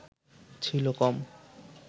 ছিল কম